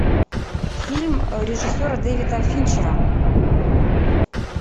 фильм режиссера дэвида финчера